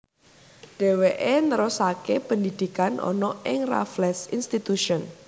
Dheweke nerusake pendidikan ana ing Raffles Institution